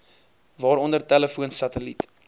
waaronder telefoon satelliet